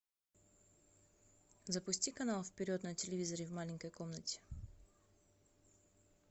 запусти канал вперед на телевизоре в маленькой комнате